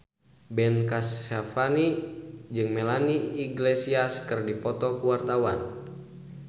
Ben Kasyafani jeung Melanie Iglesias keur dipoto ku wartawan